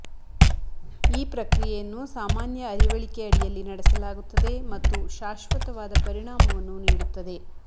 ಈ ಪ್ರಕ್ರಿಯೆಯನ್ನು ಸಾಮಾನ್ಯ ಅರಿವಳಿಕೆ ಅಡಿಯಲ್ಲಿ ನಡೆಸಲಾಗುತ್ತದೆ ಮತ್ತು ಶಾಶ್ವತವಾದ ಪರಿಣಾಮವನ್ನು ನೀಡುತ್ತದೆ